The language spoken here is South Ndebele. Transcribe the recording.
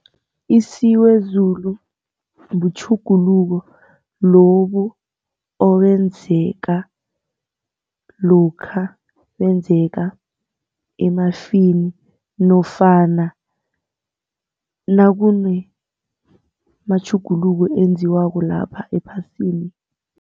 Isiwezulu butjhuguluko lobu obenzeka lokha nakwenzeka emafini nofana nakunamatjhuguluko enziwako lapha ephasini.